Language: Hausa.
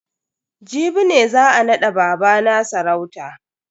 Jibi ne za a nada babana sarauta.